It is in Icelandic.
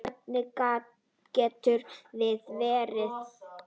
Hvernig getur það verið?